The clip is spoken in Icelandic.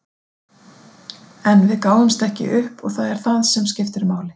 En við gáfumst ekki upp og það er það sem skiptir máli.